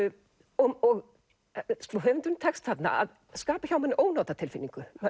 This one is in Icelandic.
og höfundinum tekst þarna að skapa hjá manni ónotatilfinningu